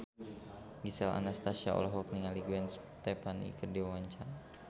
Gisel Anastasia olohok ningali Gwen Stefani keur diwawancara